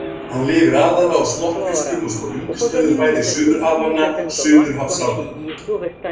Hann lifir aðallega á smokkfiskum og svo undirstöðufæðu Suðurhafanna, suðurhafsátunni.